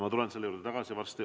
Ma tulen selle juurde varsti.